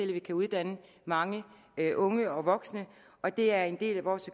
vi kan uddanne mange unge og voksne og det er en del af vores